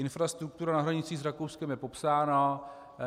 Infrastruktura na hranicích s Rakouskem je popsána.